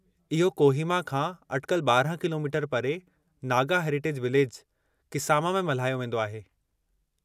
इहो कोहिमा खां अटिकल 12 किलोमीटर परे नागा हेरिटेज विलेज, किसामा में मल्हायो वेंदो आहे।